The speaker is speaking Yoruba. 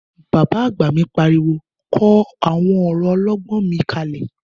Bàbá àgbà mi pariwo 'kọ àwọn ọ̀rọ̀ ọlọ́gbọ́n mi kalẹ̀'